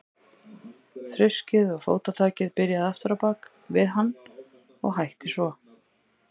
Þruskið og fótatakið byrjaði aftur á bak við hann og hætti svo.